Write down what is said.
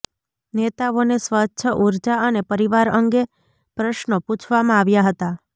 નેતાઓને સ્વચ્છ ઉર્જા અને પરિવાર અંગે પ્રશ્નો પુછવામાં આવ્યા હતા